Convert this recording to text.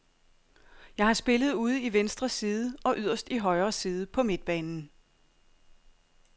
Jeg har spillet ude i venstre side og yderst i højre side på midtbanen.